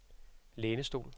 lænestol